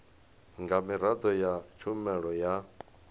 nga miraḓo ya tshumelo ya